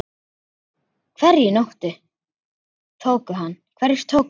SKÚLI: Hverjir tóku hann?